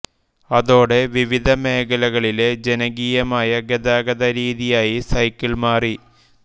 അതോടെ വിവിധ മേഖലകളിലെ ജനകീയമായ ഗതാതഗ രീതിയായി സൈക്കിൾ മാറി